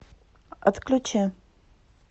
отключи